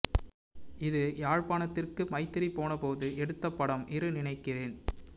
இது யாழ்ப்பாணத்திற்கு மைத்திரி போன போது எடுத்த படம் இரு நினைக்கிறேன்